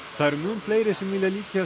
það eru mun fleiri sem vilja líkjast